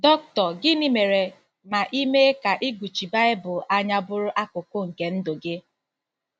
Dr. Gịnị mere ma i mee ka ịgụchi Baịbụl anya bụrụ akụkụ nke ndụ gị?